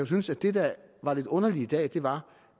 synes at det der var lidt underligt i dag var